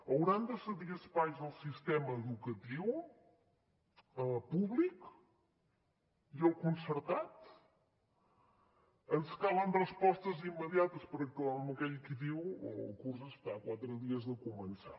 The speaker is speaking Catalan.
hauran de cedir espais al sistema educatiu públic i al concertat ens calen respostes immediates perquè clar com aquell qui diu el curs està a quatre dies de començar